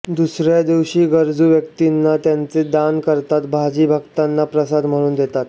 दुसऱ्या दिवशी गरजू व्यक्तीना त्यांचे दान करताात भाजी भक्तांना प्रसाद म्हणून देतात